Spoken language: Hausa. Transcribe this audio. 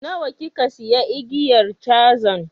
Nawa kika siya igiyar cazan?